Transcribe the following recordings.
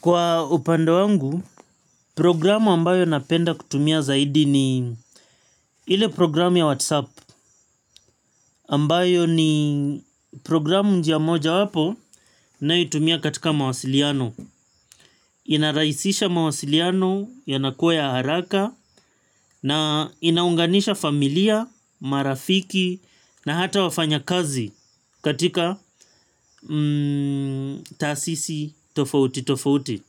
Kwa upande wangu, programu ambayo napenda kutumia zaidi ni ile programu ya WhatsApp. Ambayo ni programu njia mojawapo ninayoitumia katika mawasiliano. Inarahisisha mawasiliano yanakuwa ya haraka na inaunganisha familia, marafiki na hata wafanyakazi katika taasisi tofauti tofauti.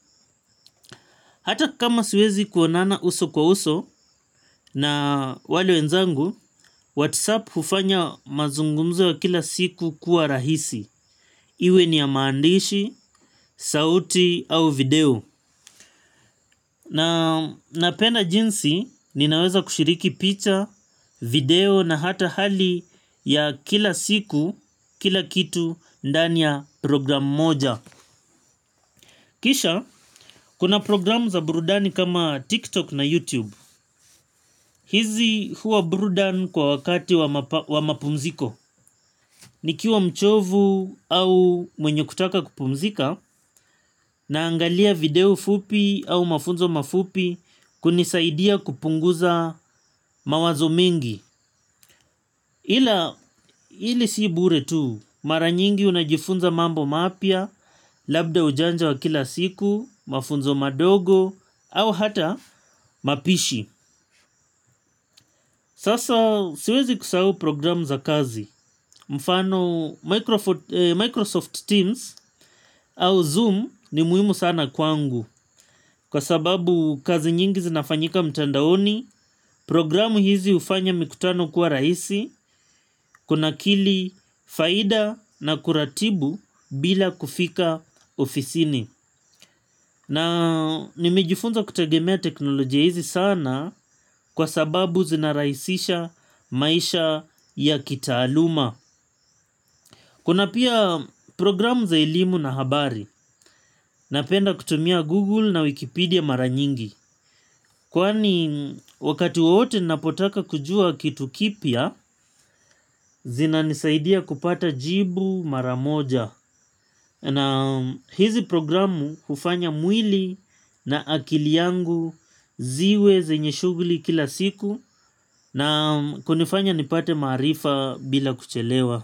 Hata kama siwezi kuonana uso kwa uso na wale wenzangu, Whatsapp hufanya mazungumzo ya kila siku kuwa rahisi. Iwe ni ya maandishi, sauti au video. Napenda jinsi, ninaweza kushiriki picha, video na hata hali ya kila siku, kila kitu ndani ya program moja. Kisha, kuna programu za burudani kama TikTok na YouTube. Hizi huwa burudan kwa wakati wa mapumziko. Nikiwa mchovu au mwenye kutaka kupumzika, naangalia video fupi au mafunzo mafupi kunisaidia kupunguza mawazo mengi. Ila hili si bure tu, mara nyingi unajifunza mambo mapya, labda ujanja wa kila siku, mafunzo madogo, au hata mapishi. Sasa siwezi kusahau programu za kazi. Mfano Microsoft Teams au Zoom ni muhimu sana kwangu. Kwa sababu kazi nyingi zinafanyika mtandaoni, programu hizi hufanya mikutano kuwa rahisi, kunakili faida na kuratibu bila kufika ofisini. Na nimejifunza kutegemea teknolojia hizi sana kwa sababu zinarahisisha maisha ya kitaaluma. Kuna pia programu za elimu na habari. Napenda kutumia Google na Wikipedia mara nyingi. Kwani wakati wowote ninapotaka kujua kitu kipya, zinanisaidia kupata jibu mara moja. Na hizi programu hufanya mwili na akili yangu ziwe zenye shughuli kila siku na kunifanya nipate maarifa bila kuchelewa.